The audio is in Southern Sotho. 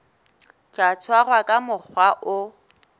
tla tshwarwa ka mokgwa o